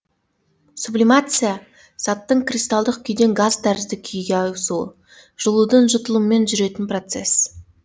сублимация заттың кристалдық күйден газ тәрізді күйге ауысуы жылудың жұтылуымен жүретін процесс